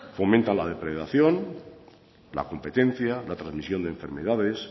fomenta la depredación la competencia la trasmisión de enfermedades